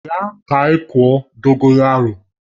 Bia ka anyi kụọ Dogoyaro!